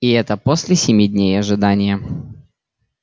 и это после семи дней ожидания